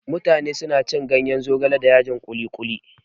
Mutane suna cin ganyen zogale da yajin kuli-kuli.